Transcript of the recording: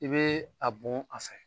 I bɛ a bon a fɛ